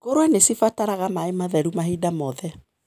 Ngũrũwe nĩcibataraga maĩ matheru mahinda mothe.